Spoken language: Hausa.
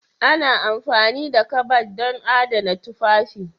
Ana amfani da kabad don adana tufafi.